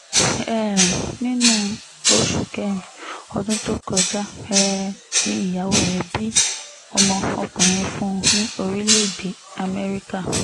um nínú oṣù kẹrin ọdún tó kọjá um ni ìyàwó rẹ̀ bí ọmọ ọkùnrin fún un ní orílẹ̀‐èdè amẹ́ríkà